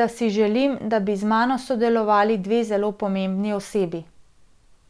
da si želim, da bi z mano sodelovali dve zelo pomembni osebi.